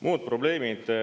Muud probleemid.